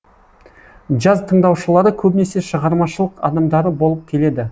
джаз тыңдаушылары көбінесе шығармашылық адамдары болып келеді